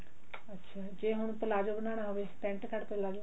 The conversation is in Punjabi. ਅੱਛਾ ਜੇ ਹੁਣ ਪਲਾਜ਼ੋ ਬਨਾਣਾ ਹੋਵੇ pent cart ਪਲਾਜ਼ੋ